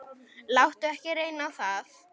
Láttu ekki reyna á það.